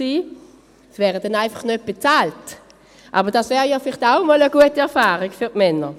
sie wären dann einfach nicht bezahlt, aber das wäre ja vielleicht auch mal eine gute Erfahrung für die Männer.